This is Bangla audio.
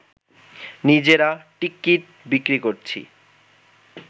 নিজেরা টিকিট বিক্রি করছি